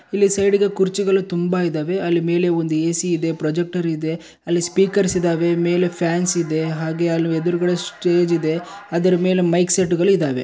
ಇಲ್ಲಿ ಸೈಡ್ ಗೆ ಕುರ್ಚಿಗಳು ತುಂಬಾ ಇದಾವೆ ಅಲ್ಲಿ ಮೇಲೆ ಒಂದು ಎ.ಸಿ ಇದೆ ಪ್ರೊಜೆಕ್ಟ್ರ್ ಇದೆ ಅಲ್ಲಿ ಸ್ಪೀಕರ್ಸ್ ಇದಾವೆ ಮೇಲೆ ಫ್ಯಾನ್ಸ್ ಇದೆ ಹಾಗೆ ಅಲ್ ಎದ್ರುಗಡೆ ಸ್ಟೇಜ್ ಇದೆ ಅದ್ರಮೇಲೆ ಮೈಕ್ಸೆ ಟ್ಗಳು ಇದಾವೆ.